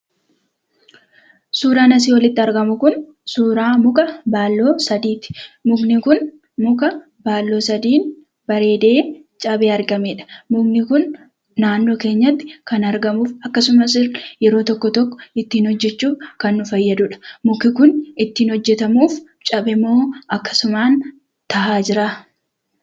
Suuraan asii olitti argamu kun suuraa muka baalloo sadiiti. Mukni kun muka baalloo sadii bareedee cabee argameedha. Mukni kun naannoo keenyatti kan argamu akkasumas yeroo tokko tokko ittiin hojjachuuf kan nu fayyaduudha. Mukni kun ittiin hojjatamuuf cabe moo akkasumaaf taa'aa jiraa?